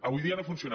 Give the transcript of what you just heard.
avui dia no funciona